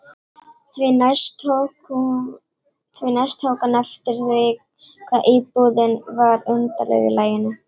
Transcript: Því næst tók hann eftir því hvað íbúðin var undarleg í laginu.